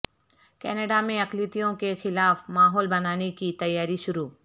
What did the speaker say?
Canada میں اقلیتوں کے خلاف ماحول بنانے کی تیاری شروع